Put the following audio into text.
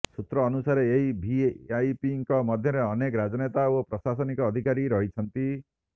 ସୂତ୍ର ଅନୁସାରେ ଏହି ଭିଆଇପିଙ୍କ ମଧ୍ୟରେ ଅନେକ ରାଜନେତା ଓ ପ୍ରଶାସନିକ ଅଧିକାରୀ ରହିଛନ୍ତି